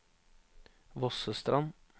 Vossestrand